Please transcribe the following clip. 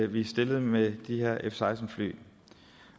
vi stillede med de her f seksten fly